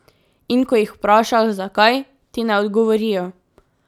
In ko jih vprašaš, zakaj, ti ne odgovorijo.